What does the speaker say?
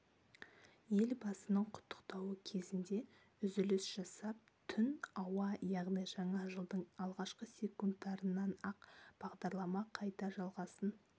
елбасының құттықтауы кезінде үзіліс жасап түн ауа яғни жаңа жылдың алғашқы секундтарынан-ақ бағдарлама қайта жалғасын